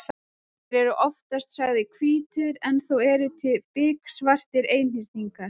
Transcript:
Þeir eru oftast sagðir hvítir en þó eru til biksvartir einhyrningar.